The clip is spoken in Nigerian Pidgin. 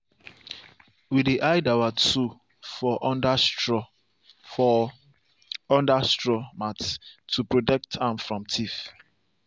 we dey hide our tool for under straw for under straw mat to protect am from thief.